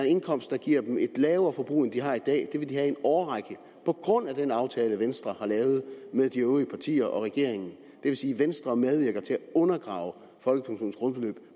indkomst der giver dem et lavere forbrug end de har i dag det vil de have i en årrække på grund af den aftale venstre har lavet med de øvrige partier og regeringen det vil sige at venstre medvirker til at undergrave folkepensionens grundbeløb